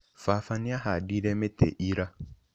Baba nĩahandire mĩtĩ ira